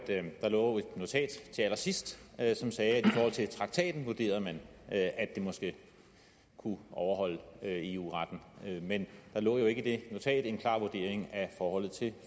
der lå et notat til allersidst som sagde at man forhold til traktaten vurderede at det måske kunne overholde eu retten men der lå jo ikke i det notat en klar vurdering af forholdet til